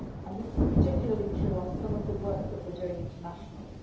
part. This is particularly true on some of the work that we are doing internationally.